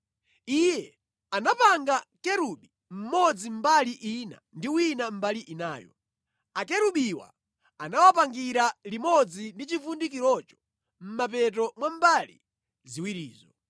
Iye anapanga kerubi mmodzi mbali ina ndi wina mbali inayo. Akerubiwa anawapangira limodzi ndi chivundikirocho mʼmapeto mwa mbali ziwirizo.